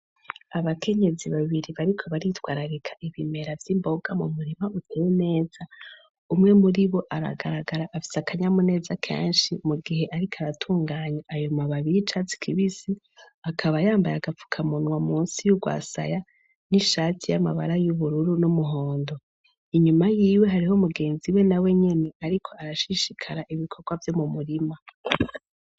Abakenyezi babiri bariko baritwararika ibimera vy'imboga mu murima utumu neza umwe muri bo aragaragara afisa akanya mu neza kenshi mu gihe, ariko aratunganya ayo mababiye i casi kibisi akaba yambaye agapfukamunwa musi y'urwasaya n'ishati y'amabara y'ubururu n'umuhondoinma ma yiwe hariho mugenzi we na we nyene, ariko arashishikara ibikorwa vyo mu murima.